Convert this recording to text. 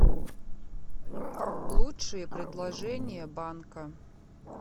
лучшие предложения банка